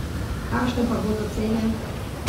Kakšne pa bodo cene?